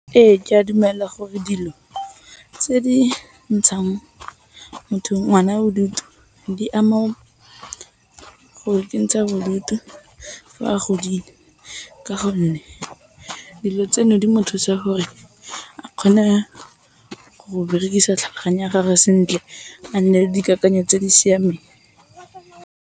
Ee, ke a dumela gore dilo tse di ntshang ngwana bodutu di ama go ikentsha bodutu fa a godile ka gonne dilo tseno di mo thusa gore a kgone go berekisa tlhaloganyo ya gage sentle a nne dikakanyo tse di siameng.